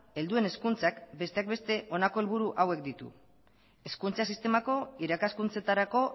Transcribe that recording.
helduen hezkuntzak besteak beste honako helburu hauek ditu hezkuntza sistemako irakaskuntzetarako